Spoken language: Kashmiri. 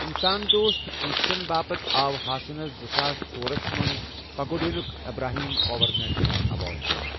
انسان دوست کوُششن باپتھ آو ہاسنس زٕساس ژۄرس منز پگوٚڈنِیوُک ابراہم کوور نیشنل ایواڈ دِنہٕ ا۔